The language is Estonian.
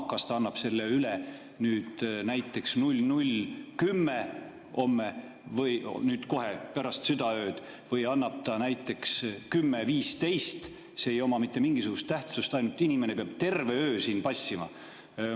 Kas ta annab selle üle näiteks 00.10, kohe pärast südaööd, või annab näiteks 10.15, see ei oma mitte mingisugust tähtsust, ainult inimene peab terve öö siin passima.